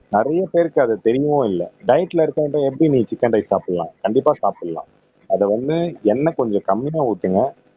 நிறைய பேருக்கு அது தெரியவும் இல்ல டயட்ல இருக்கிறவங்ககிட்ட எப்படி நீ சிக்கன் ரைஸ் சாப்பிடலாம் கண்டிப்பா சாப்பிடலாம் அத ஒன்னு என்ன கொஞ்சம் கம்மியா ஊத்துங்க